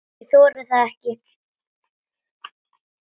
Ég þori það ekki.